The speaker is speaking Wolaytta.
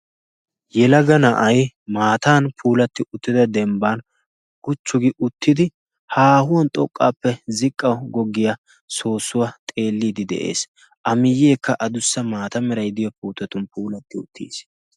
yelaga na'ay maatan puulatti uttida dembban guchchugi uttidi haahuwan xoqqaappe ziqqa goggiyaa soossuwaa xeelliidi de'ees a miyyeekka adussa maata meray diyo puutetun puulatti uttiis